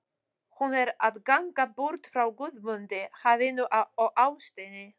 Hún er að ganga burt frá Guðmundi, hafinu og ástinni.